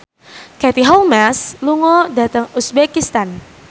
Katie Holmes lunga dhateng uzbekistan